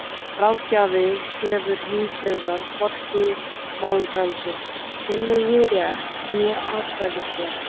Ráðgjafi hefur hins vegar hvorki málfrelsi, tillögurétt né atkvæðisrétt.